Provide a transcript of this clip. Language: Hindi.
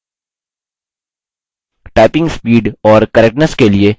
typing speed और correctness के लिए निचली सीमा को निर्धारित करें